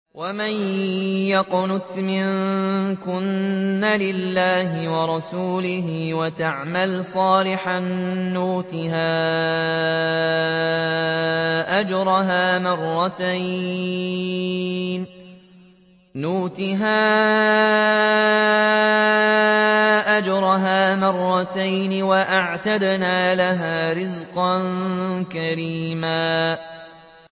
۞ وَمَن يَقْنُتْ مِنكُنَّ لِلَّهِ وَرَسُولِهِ وَتَعْمَلْ صَالِحًا نُّؤْتِهَا أَجْرَهَا مَرَّتَيْنِ وَأَعْتَدْنَا لَهَا رِزْقًا كَرِيمًا